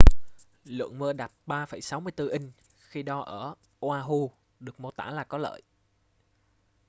lượng mưa đạt 6,34 inch khi đo ở oahu được mô tả là có lợi